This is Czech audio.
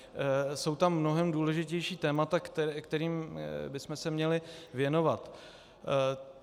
Jsou tam mnohem důležitější témata, kterým bychom se měli věnovat.